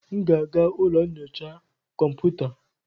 M ga-aga ụlọ nyocha kọmputa.